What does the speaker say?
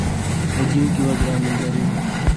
один килограмм мандаринов